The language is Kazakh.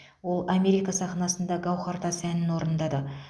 ол америка сахнасында гауһартас әнін орындады